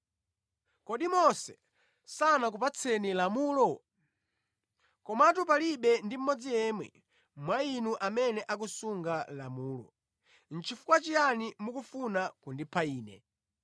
Kodi Mose sanakupatseni lamulo? Komatu palibe ndi mmodzi yemwe mwa inu amene akusunga lamulo. Nʼchifukwa chiyani mukufuna kundipha Ine?”